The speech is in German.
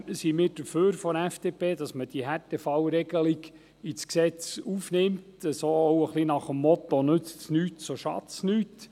Trotzdem sind wir von der FDP dafür, dass wir die Härtefallregelung ins Gesetz aufnehmen, nach dem Motto «nützt es nicht, so schadet es nicht».